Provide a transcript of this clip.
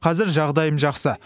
қазір жағдайым жақсы